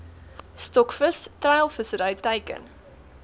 stokvis treilvissery teiken